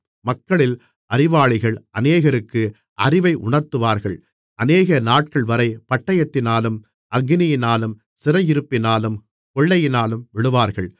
மக்களில் அறிவாளிகள் அநேகருக்கு அறிவை உணர்த்துவார்கள் அநேகநாட்கள்வரை பட்டயத்தினாலும் அக்கினியினாலும் சிறையிருப்பினாலும் கொள்ளையினாலும் விழுவார்கள்